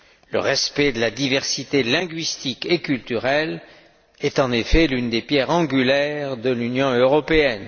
Le respect de la diversité linguistique et culturelle est en effet l'une des pierres angulaires de l'Union européenne.